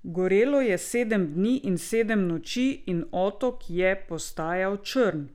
Gorelo je sedem dni in sedem noči in otok je postajal črn.